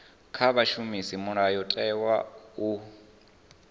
kha vha shumise mulayotewa u